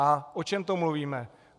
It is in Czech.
A o čem to mluvíme?